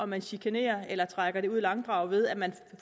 man chikanerer eller trækker det i langdrag ved at man